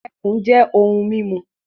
Ẹkùn jẹ ohun mímu